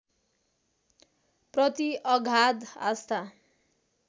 प्रति अगाध आस्था